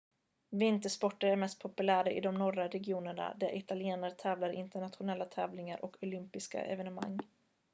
vintersporter är mest populära i de norra regionerna där italienare tävlar i internationella tävlingar och olympiska evenemang